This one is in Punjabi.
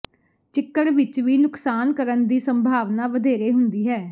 ਚਿੱਕੜ ਵਿਚ ਵੀ ਨੁਕਸਾਨ ਕਰਨ ਦੀ ਸੰਭਾਵਨਾ ਵਧੇਰੇ ਹੁੰਦੀ ਹੈ